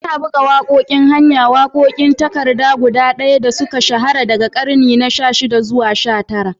Ana buga waƙoƙin hanya, waƙoƙin takarda guda ɗaya da suka shahara daga ƙarni na 16 zuwa 19.